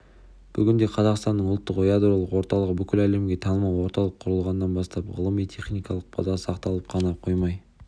бүгінде қазақстанның ұлттық ядролық орталығы бүкіл әлемге танымал орталық құрылғаннан бастап ғылыми-техникалық база сақталып қана қоймай